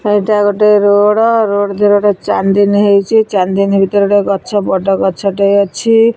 ଏଇଟା ଗୋଟେ road road ଧିଏରେ ଗୋଟେ ଚାନ୍ଦିନୀ ହେଇଚି ଚାନ୍ଦିନୀ ଭିତରେ ଗୋଟେ ଗଛ ବଡ ଗଛ ଟିଏ ଅଛି।